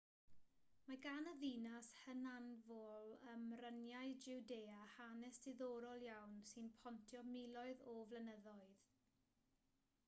mae gan y ddinas hynafol ym mryniau jiwdea hanes diddorol iawn sy'n pontio miloedd o flynyddoedd